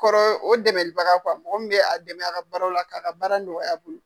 kɔrɔ o dɛmɛlibaga mɔgɔ mun bi a dɛmɛ a ka baara la k'a ka baara nɔgɔya a bolo.